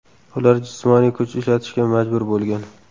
Ular jismoniy kuch ishlatishga majbur bo‘lgan.